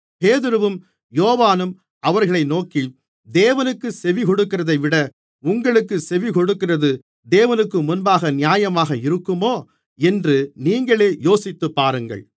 பேதுருவும் யோவானும் அவர்களை நோக்கி தேவனுக்குச் செவிகொடுக்கிறதைவிட உங்களுக்குச் செவிகொடுக்கிறது தேவனுக்குமுன்பாக நியாயமாக இருக்குமோ என்று நீங்களே யோசித்துப்பாருங்கள்